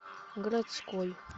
городской